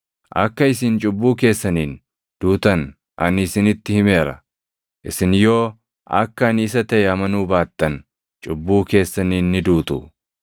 Akka isin cubbuu keessaniin duutan ani isinitti himeera; isin yoo akka ani isa taʼe amanuu baattan, cubbuu keessaniin ni duutu.”